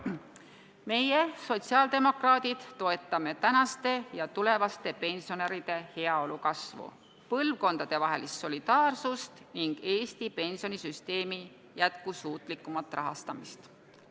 Meie, sotsiaaldemokraadid, toetame praeguste ja tulevaste pensionäride heaolu kasvu, põlvkondadevahelist solidaarsust ning Eesti pensionisüsteemi jätkusuutlikumat rahastamist.